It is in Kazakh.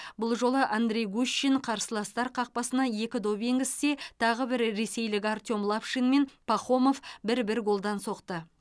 бұл жолы андрей гущин қарсыластар қақпасына екі доп енгізсе тағы бір ресейлік артем лапшин мен пахомов бір бір голдан соқты